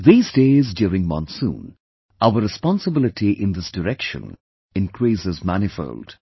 These days during monsoon, our responsibility in this direction increases manifold